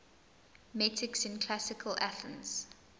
metics in classical athens